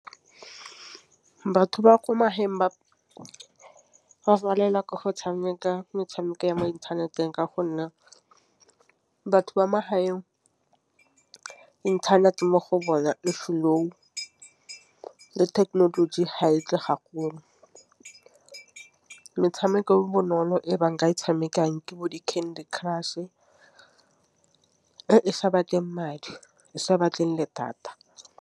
fa batho ba kwa magaeng ba palelwa ke go tšhameka metšhameko ya mo inthaneteng ka gonne batho ba magaeng inthanete mo go bona e slow. Technology ha e tle metšhameko bonolo e banka e tshamekang ke bo di-Candy Crush esa batleng madi e sa batleng le data.